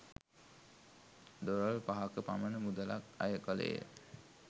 Dollar පහක පමණ මුදලක් අය කෙළේය.